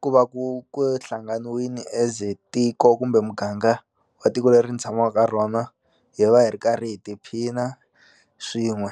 ku va ku ku hlanganiwini as a tiko kumbe muganga wa tiko leri ni tshamaka ka rona hi va hi ri karhi hi tiphina swin'we.